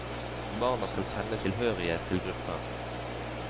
Barna skal kjenne tilhørighet til gruppen.